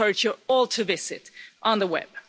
I encourage you all to visit it on the web.